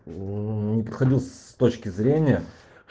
мм не подходил с точки зрения